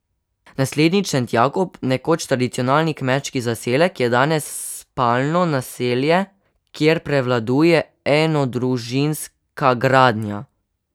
Naselje Šentjakob, nekoč tradicionalni kmečki zaselek, je danes spalno naselje, kjer prevladuje enodružinska gradnja.